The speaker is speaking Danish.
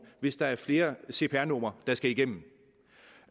hvis der er flere cpr numre der skal igennem